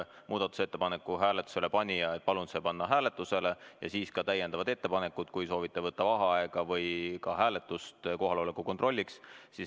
Muudatusettepaneku hääletusele panija tavaliselt palub selle panna hääletusele ja teeb ka täiendavad ettepanekud, kui soovitakse võtta vaheaega või teha kohaloleku kontrolli.